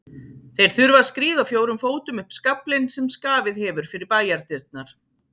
Þeir þurfa að skríða á fjórum fótum upp skaflinn sem skafið hefur fyrir bæjardyrnar.